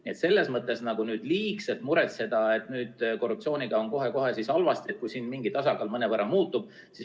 Nii et selles mõttes ei tasu liigselt muretseda, et korruptsiooniga on kohe-kohe halvasti, kui siin mingi tasakaal mõnevõrra muutub.